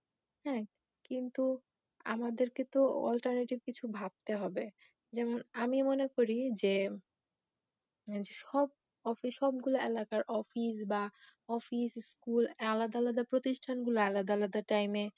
হা কিন্তু আমাদের কে তো alternative কিছু ভাবতে হবে জেমন আমি মনে করি যে সব off সবগুলো এলাকার office বা school আলাদা আলাদা প্রতিষ্ঠান গুলি আলাদা আলাদা টাইম ই শিফট হয়ে যাক